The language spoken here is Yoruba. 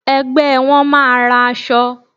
Ẹgbẹ́ won máa ra aṣọ.